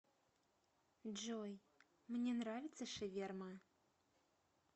джой мне нравится шаверма